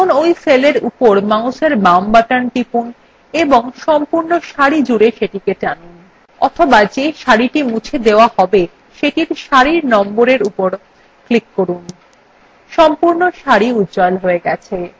এখন ওই cellএর উপর মাউসের বাম button টিপুন এবং সম্পূর্ণ সারি জুড়ে সেটিকে টানুন অথবা যে সারিটি মুছে দেওয়া হবে সেটির সারির number উপর click করুন সম্পূর্ণ সারি উজ্জ্বল হয়ে গেছে